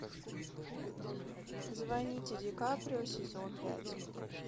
звоните ди каприо сезон пять